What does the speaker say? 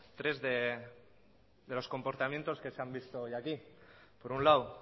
tres de los comportamientos que se han visto hoy aquí por un lado